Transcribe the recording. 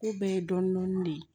K'u bɛɛ ye dɔɔnin dɔɔnin de ye